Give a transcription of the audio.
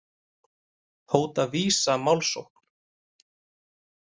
Hóta Visa málsókn